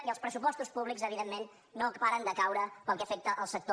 i els pressupostos públics evidentment no paren de caure pel que afecta el sector